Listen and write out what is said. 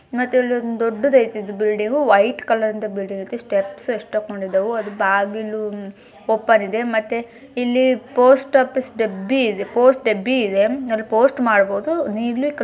ಮತ್ತೆಇಲ್ಲೊಂದು ದೊಡ್ಡದ್ ಐತಿ ಇದ್ ಬಿಲ್ಡಿಂಗ್ ವೈಟ್ ಕಲರ್ರಿಂದ್ ಬಿಲ್ಡಿಂಗ್ ಐತಿ ಸ್ಟೆಪ್ಸ್ ಎಷ್ಟಕ್ಕೊಂಡಿದ್ದಾವು ಬಾಗಿಲೂ ಓಪನ್ ಇದೆ ಮತ್ತೇ ಪೋಸ್ಟ್ ಆಫೀಸ್ ಡಬ್ಬಿಇದೇ ಪೋಸ್ಟ್ ಡಬ್ಬಿ ಅಲ್ಲಿ ಪೋಸ್ಟ್ ಮಾಡಬಹುದು